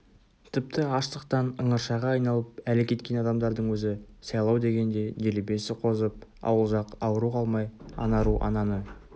тіпті аштықтан ыңыршағы айналып әлі кеткен адамдардың өзі сайлау дегенде делебесі қозып ауылжақ ауру қалмай ана ру ананы